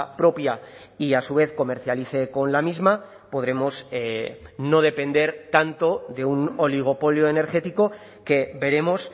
propia y a su vez comercialice con la misma podremos no depender tanto de un oligopolio energético que veremos